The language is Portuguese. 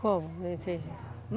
Como? Não entendi.